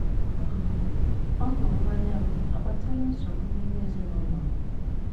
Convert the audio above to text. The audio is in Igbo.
um Ọṅụ mmanya m akpatala nsogbu n'ime ezinụlọ m?